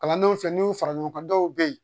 Kalandenw fɛ n'i y'u fara ɲɔgɔn kan dɔw bɛ ye